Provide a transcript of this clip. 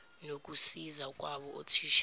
nokusiza kwabo othisha